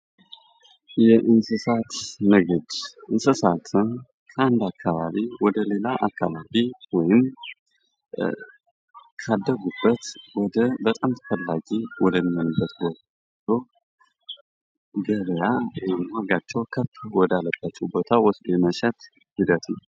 የእንስሳት ምግብ እንስሳትን ከአንድ አካባቢ ወደ ሌላ አካባቢ ወይም ካደጉበት ወደ በጣም ተፈላጊ ወደ ሚሆንበት ቦታ ገበያ ወይም ዋጋቸዉ ከፍ ወዳለበት ቦታ የመሸጥ ሂደት ነዉ።